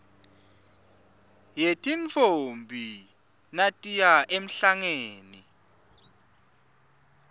yetintfombi natiya emhlangeni